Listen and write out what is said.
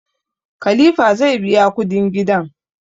Kalifa zai biya kudin gidan